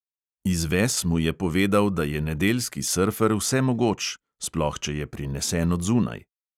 Izves mu je povedal, da je nedeljski srfer vsemogoč, sploh če je prinesen od zunaj.